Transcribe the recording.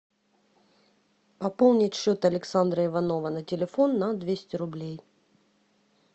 пополнить счет александра иванова на телефон на двести рублей